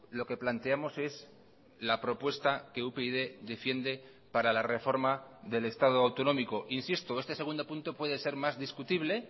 lo que planteamos es la propuesta que upyd defiende para la reforma del estado autonómico insisto este segundo punto puede ser más discutible